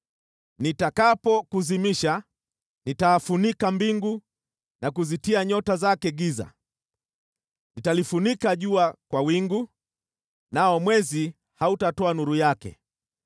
Nitakapokuzimisha, nitafunika mbingu na kuzitia nyota zake giza; nitalifunika jua kwa wingu, nao mwezi hautatoa nuru yake.